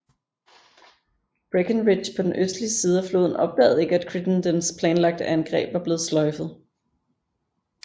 Breckinridge på den østlige side af floden opdagede ikke at Crittendens planlagte angreb var blevet sløjfet